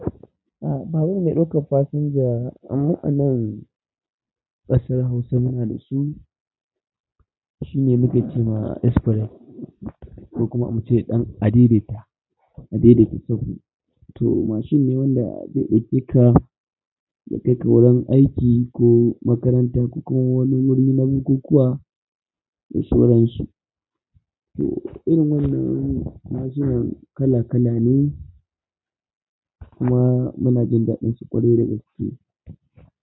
A, babu mai ɗaukan fasinja a mu'anan ƙasar Hausa muna da su. Shi ne muke ce ma express ko kuma muke ce ɗan adedeta, adedeta sahu. To mashin ne wanda zai ɗauke ka ya kai ka wurin aiki ko makaranta ko kuma wani wuri na bukukkuwa da shoran shi. To irin wannan mashinan kala kala ne kuma muna jin daɗin su ƙwarai da gaske.